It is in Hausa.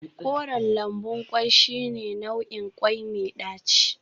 Koren lambun kwai shine nau'in kwai mai daci